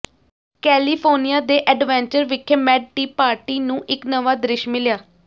California ਦੇ adventure ਵਿਖੇ mad tea party ਨੂੰ ਇੱਕ ਨਵਾਂ ਦ੍ਰਿਸ਼ ਮਿਲਿਆ